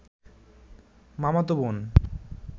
মামাতো বোন